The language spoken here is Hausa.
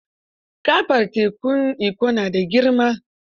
Gaɓar tekun Ikko na da girma.